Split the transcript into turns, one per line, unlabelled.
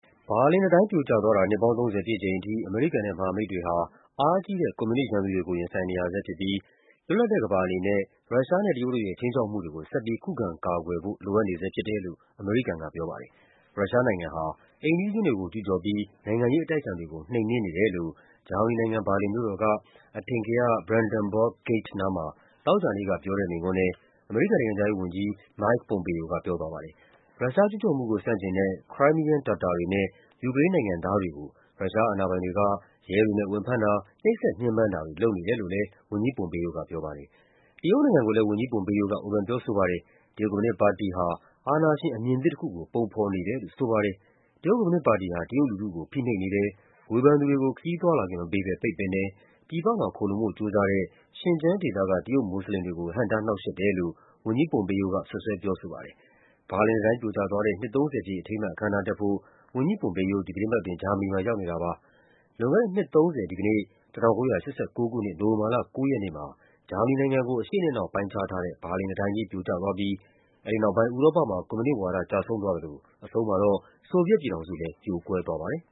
ဘာလင်တံတိုင်းပြိုကျသွားတာ နှစ်ပေါင်း ၃၀ ပြည့်ချိန်ထိ အမေရိကန်နဲ့မဟာမိတ်တွေဟာ အားကြီးတဲ့ ကွန်မြူနစ် ရန်သူတွေကို ရင်ဆိုင်နေရဆဲဖြစ်ပြီး လွတ်လပ်တဲ့ကမ္ဘာအနေနဲ့ ရုရှားနဲ့တရုတ်တို့ရဲ့ ခြိမ်းခြောက်မှုတွေကို ဆက်ပြီး ခုခံကာကွယ်ဖို့ လိုအပ်နေဆဲ ဖြစ်တယ်လို့ အမေရိကန်ကပြောပါတယ်။ ရုရှားနိုင်ငံဟာ အိမ်နီးချင်းတွေကို ကျူးကျော်ပြီး နိုင်ငံရေးအတိုက်အခံတွေကို နှိမ်နင်းနေတယ်လို့ ဂျာမနီနိုင်ငံ၊ ဘာလင်မြို့တော် က အထင်ကရ Brandenburg Gate နားမှာ သောကြာနေ့က ပြောတဲ့မိန့်ခွန်းထဲ အမေရိကန်နိုင်ငံခြားရေးဝန်ကြီး Mike Pompeo က ပြောသွားပါတယ်။ ရုရှားကျူးကျော်မှုကို ဆန့်ကျင်တဲ့ Crimean တာတာတွေနဲ့ ယူကရိန်းနိုင်ငံသားတွေကို ရုရှားအာဏာပိုင် တွေက ရဲတွေနဲ့ဝင်ဖမ်းတာ၊ နှိပ်စက်ညှဉ်းပန်းတာတွေ လုပ်နေတယ်လို့လည်း ဝန်ကြီး Pompeo ကပြောပါတယ်။ တရုတ်နိုင်ငံကိုလည်း ဝန်ကြီး Pompeo က ဝေဖန်ပြောဆိုပါတယ်။ တရုတ်ကွန်မြူနစ်ပါတီ CCP ဟာ အာဏာရှင် အမြင်သစ်တခု ကို ပုံဖော်နေတယ်လို့ ဆိုပါတယ်။ တရုတ်ကွန်မြူနစ်ပါတီဟာ တရုတ်လူထုကို ဖိနှိပ်နေတယ်၊ ဝေဖန်သူတွေကို ခရီးသွားလာခွင့် မပေးဘဲ ပိတ်ပင်တယ်၊ ပြည်ပမှာ ခိုလှုံဖို့ကြိုးစားတဲ့ ရှင်ကျန်းဒေသက တရုတ်မွတ်ဆလင်တွေကို ဟန့်တားနှောင့်ယှက်တယ်လို့ ဝန်ကြီး Pompeo က စွပ်စွဲပြောဆိုပါတယ်။ ဘာလင်တံတိုင်းပြိုကျသွား နှစ် ၃၀ ပြည့် အထိမ်းအမှတ် အခမ်းအနားတက်ဖို့ ဝန်ကြီး Pompeo ဒီသီတင်းပတ်အတွင်း ဂျာမနီမှာ ရောက်နေတာပါ။ လွန်ခဲ့တဲ့ နှစ် ၃၀ ဒီကနေ့၊ ၁၉၈၉ ခုနှစ်၊ နိုဝင်ဘာလ ၉ ရက်နေ့မှာ ဂျာမနီနိုင်ငံကို အရှေ့နဲ့အနောက်ပိုင်းခြားထားတဲ့ ဘာလင် တံတိုင်းကြီး ပြိုကျသွားပြီး အဲဒီနောက်ပိုင်း ဥရောပမှာ ကွန်မြူနစ်ဝါဒ ကျဆုံးသွားသလို အဆုံးမှာတော့ ဆိုဗီယက်ပြည်ထောင်စု လည်း ပြိုကွဲသွားပါတယ်